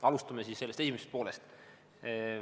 Alustame siis esimesest poolest.